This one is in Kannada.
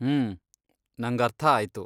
ಹ್ಮ್, ನಂಗರ್ಥ ಆಯ್ತು.